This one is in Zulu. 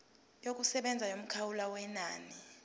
yokusebenza yomkhawulo wenani